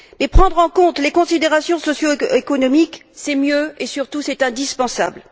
prendre en compte les considérations socio économiques, c'est mieux, et, surtout, c'est indispensable.